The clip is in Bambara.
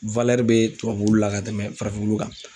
be tubabu wulu la ka tɛmɛ farafin wulu kan.